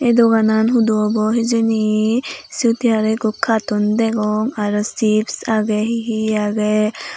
ey doganan hudu obow hijeni siyot he arow ekko katoon degong aro chips agey he he agey.